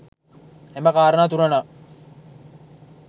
එම කාරණා තුන නම්